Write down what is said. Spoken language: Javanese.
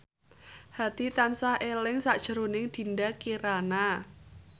Hadi tansah eling sakjroning Dinda Kirana